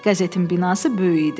Qəzetin binası böyük idi.